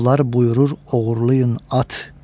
Murovlar buyurur oğurlayın at.